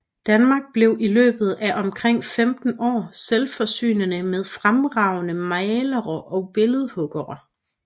Danmark blev i løbet af omkring 15 år selvforsynende med fremragende malere og billedhuggere